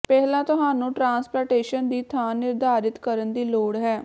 ਪਹਿਲਾਂ ਤੁਹਾਨੂੰ ਟ੍ਰਾਂਸਪਲਾਂਟੇਸ਼ਨ ਦੀ ਥਾਂ ਨਿਰਧਾਰਤ ਕਰਨ ਦੀ ਲੋੜ ਹੈ